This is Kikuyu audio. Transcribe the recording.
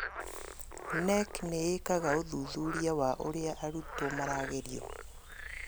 KNEC nĩĩkaga ũthuthuria wa ũrĩa arutwo maragerio